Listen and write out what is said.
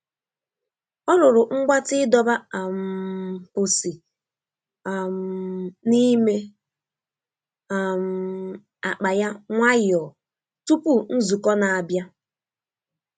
Ọ rụrụ mgbatị ịdọba um pusi um n'ime um akpa ya nwayọọ tupu nzukọ na-abịa.